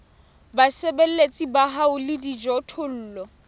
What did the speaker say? basebeletsi ba hao le dijothollo